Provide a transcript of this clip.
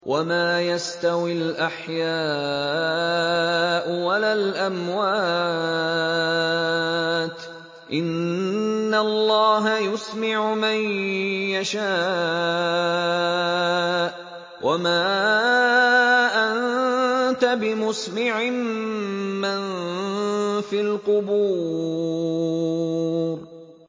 وَمَا يَسْتَوِي الْأَحْيَاءُ وَلَا الْأَمْوَاتُ ۚ إِنَّ اللَّهَ يُسْمِعُ مَن يَشَاءُ ۖ وَمَا أَنتَ بِمُسْمِعٍ مَّن فِي الْقُبُورِ